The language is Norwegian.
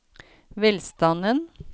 velstanden